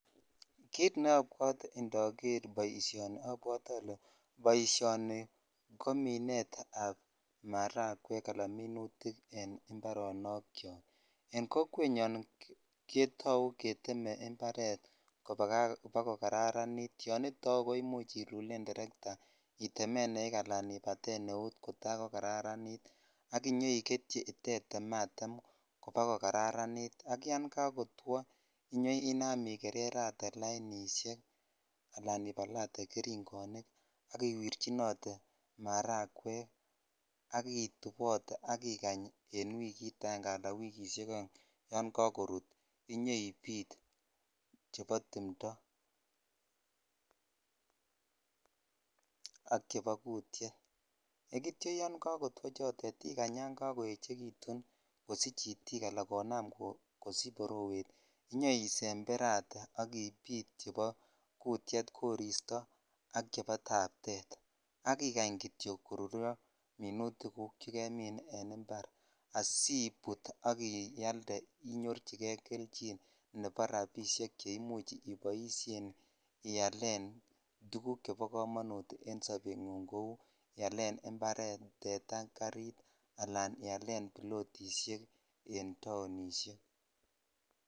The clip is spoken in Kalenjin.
Kit neobwote indoger boisionni obwotee olee boisionni ko minet ab maragwek aka minutik en ibarok yoken kokwet nyon ketau getem imparet koba kokararanit yon itau ko imuch ilulen tertaa itemen eeik ala itemen eut kota ko kararanit ak itaiketyi itemmatem kotaa ko karani ak yan kakotwo inyoinam igererate lainishekaka ibalatee geringinik ak iwirchinot maragwek ak itubotee ak ikany an wiikit aenge aka wiikishek oeng yan kakorut inyoibit chebo timtoak chebo kutyet ak yan kakotwo chotet koechekitun kosich itik ala borowet inyoisemberatee ak ibit chebo kutyet , koristo ak chebo taptet ak ikany kityok koruryo minutik guk che kemin en impar asibut ak ialde ak inyorchinen kei kelchinchebo rabishek che imuch iboishen ialen tuguk chebo komonut en sobet ngung kou imparet, tetaa alan ialen bilotisheken taonishek.